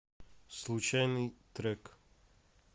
случайный трек